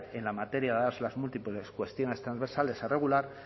en la materia dadas las múltiples cuestiones transversales a regular